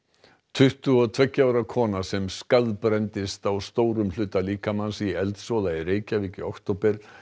tuttugu og tveggja ára kona sem á stórum hluta líkamans í eldsvoða í Reykjavík í október